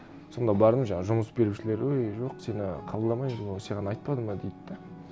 сонда бардым жаңағы жұмыс берушілер өй жоқ сені қабылдамаймыз саған айтпады ма дейді де